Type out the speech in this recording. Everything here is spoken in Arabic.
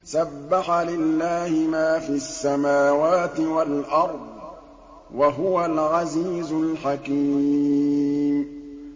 سَبَّحَ لِلَّهِ مَا فِي السَّمَاوَاتِ وَالْأَرْضِ ۖ وَهُوَ الْعَزِيزُ الْحَكِيمُ